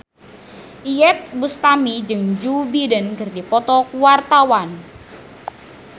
Iyeth Bustami jeung Joe Biden keur dipoto ku wartawan